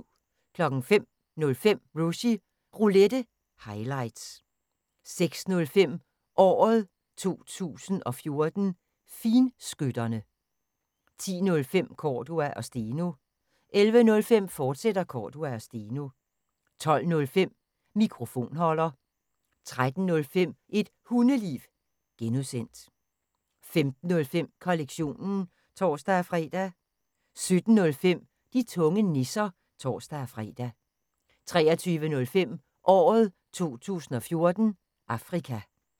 05:05: Rushys Roulette – highlights 06:05: Året 2014: Finskytterne 10:05: Cordua & Steno 11:05: Cordua & Steno, fortsat 12:05: Mikrofonholder 13:05: Et Hundeliv (G) 15:05: Kollektionen (tor-fre) 17:05: De tunge nisser (tor-fre) 23:05: Året 2014: Afrika